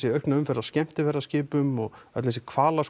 aukna umferð af skemmtiferðaskipum og öll þessi